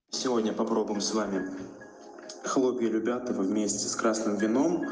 сегодня попробуем с вами хлопья любятово вместе с красным вином